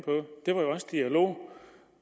også dialog